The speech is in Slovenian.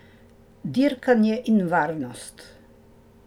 Dirkanje in varnost.